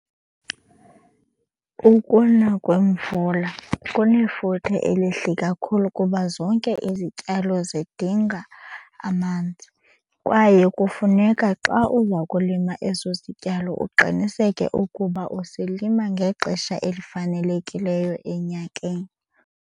Ukuna kwemvula kunefuthe elihle kakhulu kuba zonke izityalo zidinga amanzi. Kwaye kufuneka xa uza kulima eso sityalo uqiniseke ukuba usilima ngexesha elifanelekileyo enyakeni.